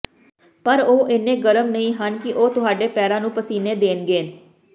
ਪਰ ਉਹ ਇੰਨੇ ਗਰਮ ਨਹੀਂ ਹਨ ਕਿ ਉਹ ਤੁਹਾਡੇ ਪੈਰਾਂ ਨੂੰ ਪਸੀਨੇ ਦੇਣਗੇ